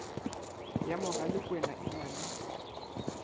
ya mogalakwena e na le